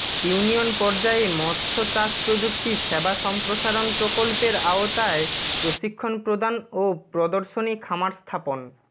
union পর্যায়ে মৎস্য চাষ প্রযুক্তি সেবা সম্প্রসারণ প্রকল্পের আওতায় প্রশিক্ষণ প্রদান ও প্রদর্শনী খামার স্থাপন